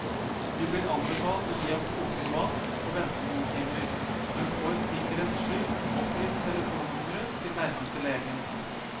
Vi blir anbefalt å gi ham kokende vann, og vente noen timer, men får sikkerhets skyld oppgitt telefonnummeret til nærmeste lege.